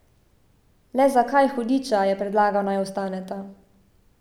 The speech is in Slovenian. Le zakaj, hudiča, je predlagal, naj vstaneta?